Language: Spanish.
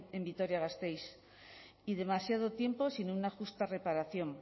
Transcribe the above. en vitoria gasteiz y demasiado tiempo sin una justa reparación